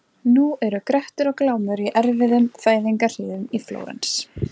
Nú eru Grettir og Glámur í erfiðum fæðingarhríðum í Flórens.